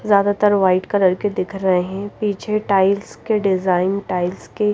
ज्यादातर white colour के दिख रहे हैं पीछे टाइल्स के डिजाइन टाइल्स के--